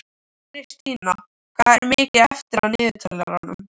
Kristína, hvað er mikið eftir af niðurteljaranum?